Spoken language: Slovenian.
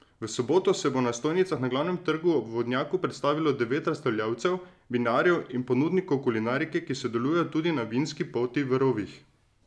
V soboto se bo na stojnicah na Glavnem trgu ob vodnjaku predstavilo devet razstavljavcev, vinarjev in ponudnikov kulinarike, ki sodelujejo tudi na vinski poti v rovih.